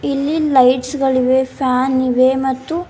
ಇಲ್ಲಿ ಲೈಟ್ಸ್ ಗಳಿವೆ ಫ್ಯಾನ್ ಇವೆ ಮತ್ತು.